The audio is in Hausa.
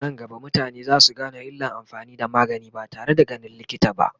anan gaba mutane zasu Gane illan amfani da magani ba tare da ganin likita ba